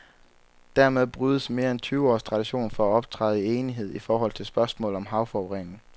Dermed brydes mere end tyve års tradition for at optræde i enighed i forhold til spørgsmål om havforurening.